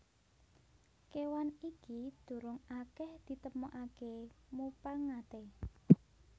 Kéwan iki durung akèh ditemokaké mupangaté